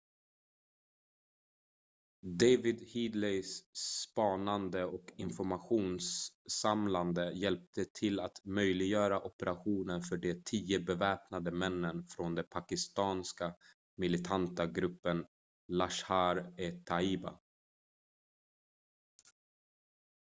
david headlys spanande och informationssamlande hjälpte till att möjliggöra operationen för de 10 beväpnade männen från den pakistanska militanta gruppen laskhar-e-taiba